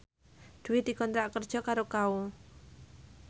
Dwi dikontrak kerja karo Kao